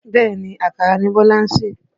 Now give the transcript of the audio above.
Bẹ́ẹ̀ni, àkàrà ni Bọ́lá ń sè.